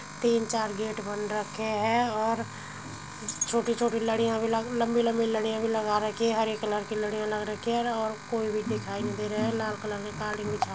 तीन चार गेट बन रखे हैं और छोटी-छोटी लडियां भी लग लंबी-लंबी लड़ियां लगा रखी हैं। हरे कलर की लड़ियां लग रखी हैं और कोई भी दिखाई नहीं दे रहा है। लाल कलर की कालीन बिछा --